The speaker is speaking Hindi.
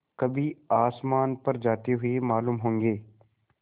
कभी आसमान पर जाते हुए मालूम होंगे